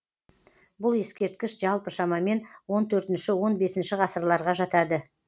бұл ескерткіш жалпы шамамен он төртінші он бесінші ғасырларға жатады